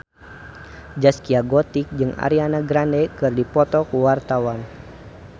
Zaskia Gotik jeung Ariana Grande keur dipoto ku wartawan